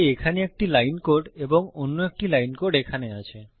তাই এখানে একটি লাইন কোড এবং অন্য একটি লাইন কোড এখানে আছে